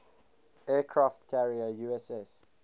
aircraft carrier uss